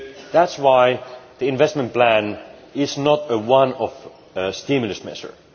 That is why the investment plan is not a one off stimulus measure.